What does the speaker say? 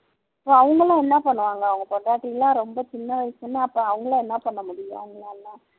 அவங்க எல்லாம் என்ன பண்ணுவாங்க அவங்க பொண்டாட்டி எல்லாம் ரொம்ப சின்ன வயசுன்னா அவங்க எல்லாம் என்ன பண்ண முடியும்